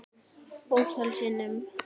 Ótal sinnum.